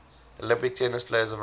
olympic tennis players of russia